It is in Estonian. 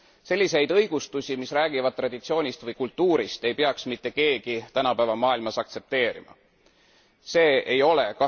Selliseid õigustusi, mis räägivad traditsioonist või kultuurist, ei peaks mitte keegi tänapäeva maailmas aktsepteerima see ei ole